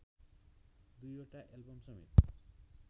दुईवटा एल्बम समेत